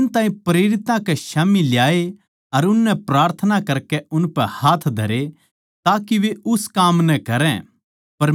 इन ताहीं प्रेरितां कै स्याम्ही ल्याए अर उननै प्रार्थना करकै उनपै हाथ धरे ताके वे उस काम नै करै